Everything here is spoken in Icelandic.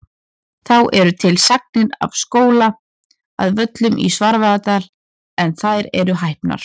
Þá eru til sagnir af skóla að Völlum í Svarfaðardal en þær eru hæpnar.